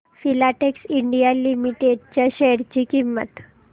Filatex India limited च्या share ची किंमत